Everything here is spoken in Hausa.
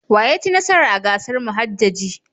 Wa ya ci nasara a gasar muhajjaji?